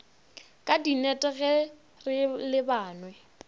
ka dinnete ge re lebanwe